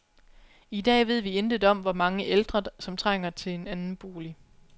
I dag ved vi intet om, hvor mange ældre, som trænger til en anden bolig.